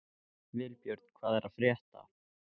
Vilbjörn, hvað er að frétta?